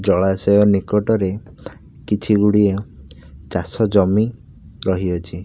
ଜଳାଶୟ ନିକଟରେ କିଛି ଗୁଡିଏ ଚାଷ ଜମି ରହି ଅଛି।